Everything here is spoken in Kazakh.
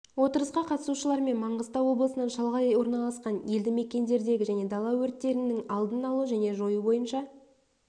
отырысқа қатысушылармен маңғыстау облысының шалғай орналасқан елді мекендердегі және дала өрттерінің алдын алу және жою бойынша